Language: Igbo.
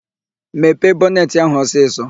Mepee bọnetị áhụ̀ ọsịsọ!